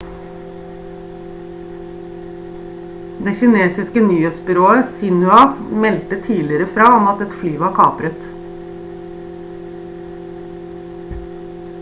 det kinesiske nyhetsbyrået xinhua meldte tidligere fra om at et fly var kapret